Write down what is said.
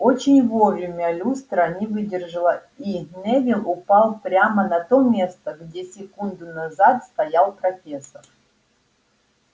очень вовремя люстра не выдержала и невилл упал прямо на то место где секунду назад стоял профессор